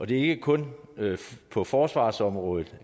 det er ikke kun på forsvarsområdet